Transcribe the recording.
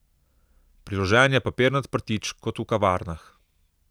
Priložen je papirnat prtič kot v kavarnah.